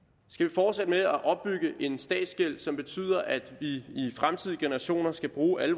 fortsætte med at opbygge en statsgæld som betyder at de fremtidige generationer skal bruge alle